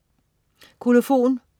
Kolofon